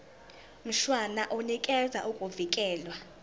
mshwana unikeza ukuvikelwa